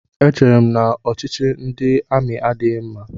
Echeere m na ọchịchị ndị amị adịghị mma.